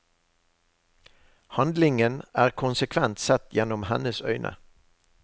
Handlingen er konsekvent sett gjennom hennes øyne.